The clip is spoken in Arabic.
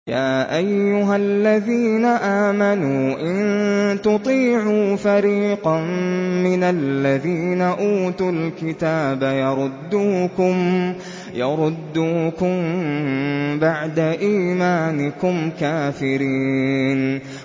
يَا أَيُّهَا الَّذِينَ آمَنُوا إِن تُطِيعُوا فَرِيقًا مِّنَ الَّذِينَ أُوتُوا الْكِتَابَ يَرُدُّوكُم بَعْدَ إِيمَانِكُمْ كَافِرِينَ